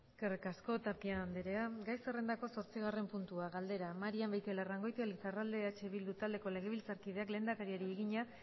eskerrik asko tapia andrea gai zerrendako zortzigarren puntua galdera marian beitialarrangoitia lizarralde eh bildu taldeko legebiltzarkideak lehendakariari egina